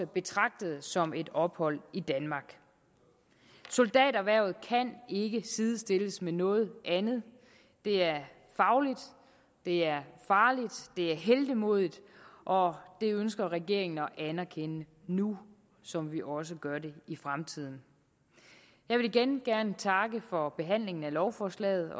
betragtet som et ophold i danmark soldaterhvervet kan ikke sidestilles med noget andet det er fagligt det er farligt det er heltemodigt og det ønsker regeringen at anerkende nu som vi også gør det i fremtiden jeg vil igen gerne takke for behandlingen af lovforslaget